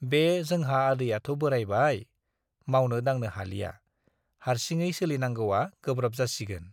बे जोंहा आदैयाथ' बोराइबाय, मावनो दांनो हालिया, हार्सिङै सोलिनांगौवा गोब्राब जासिगोन।